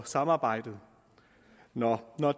samarbejdet når